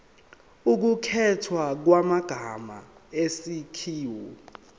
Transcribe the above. ukukhethwa kwamagama isakhiwo